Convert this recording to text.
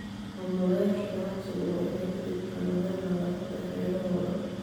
Maamulayaasha ganacsigu waa inay ka digtoonaadaan nadaafadda hareerahooda.